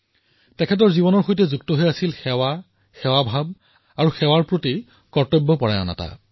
মহাত্মা গান্ধীৰ সৈতে এটা কথা সহায়েই জড়িত হৈ থাকিল এক প্ৰকাৰে তেওঁৰ জীৱনৰ অংশ হৈ থাকিল আৰু সেয়া হল সেৱা সেৱা ভাব সেৱাৰ প্ৰতি কৰ্তব্যপৰায়ণতা